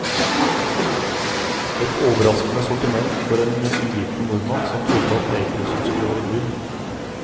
Et overraskende sortiment for en uvitende nordmann som trodde at geitosten skulle være brun.